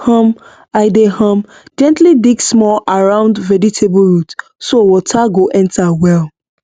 um i dey um gently dig small around vegetable root so water go enter well